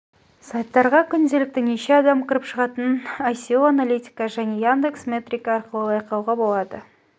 сайттарға күнделікті неше адам кіріп шығатынын оое аналитика және яндекс метрика арқылы бақылауға болады